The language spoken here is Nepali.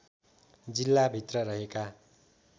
जिल्ला भित्र रहेका